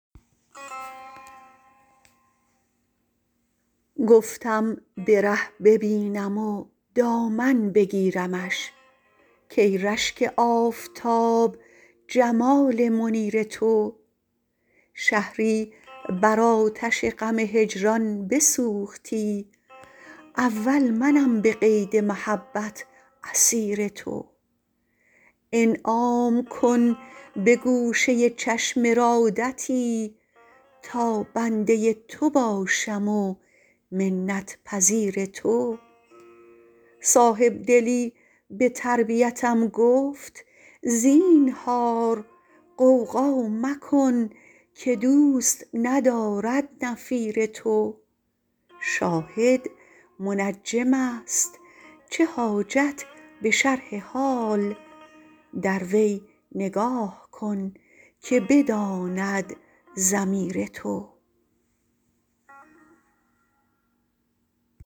گفتم به ره ببینم و دامن بگیرمش کای رشک آفتاب جمال منیر تو شهری بر آتش غم هجران بسوختی اول منم به قید محبت اسیر تو انعام کن به گوشه چشم ارادتی تا بنده تو باشم و منت پذیر تو صاحبدلی به تربیتم گفت زینهار غوغا مکن که دوست ندارد نفیر تو شاهد منجمست چه حاجت به شرح حال در وی نگاه کن که بداند ضمیر تو